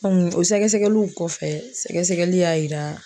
o sɛgɛsɛgɛliw kɔfɛ sɛgɛsɛgɛli y'a yira